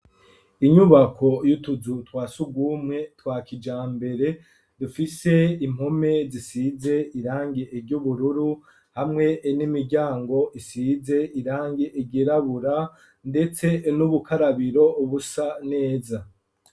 Inyubako y'utuzu twasugumwe twa kijambere ,dufise impome zisize irangi ry'ubururu, hamwe n'imiryango isize irangi ryirabura, ndetse n'ubukarabiro busa neza.